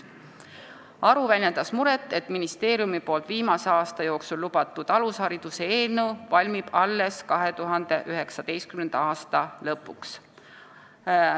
Ka väljendas ta muret, et ministeeriumi ammu lubatud alushariduse eelnõu valmib alles 2019. aasta lõpuks.